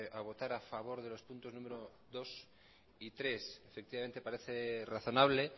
a votar a favor de los puntos número dos y tres efectivamente parece razonable